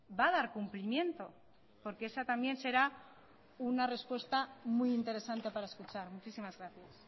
va a dar cumplimiento porque esa también será una respuesta muy interesante para escuchar muchísimas gracias